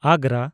ᱟᱜᱽᱜᱨᱟ